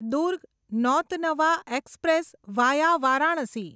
Durg Nautanwa express via Varanasi